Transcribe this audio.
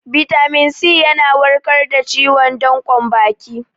Bitamin C yana warkar da ciwon danƙon baki